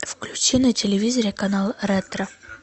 включи на телевизоре канал ретро